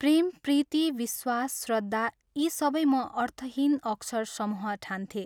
प्रेम, प्रीति, विश्वास, श्रद्धा यी सबै म अर्थहीन अक्षर समूह ठान्थें।